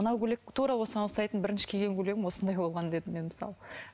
мынау көйлек тура осыған ұқсайтын бірінші киген көйлегім осындай болған дедім мен мысалы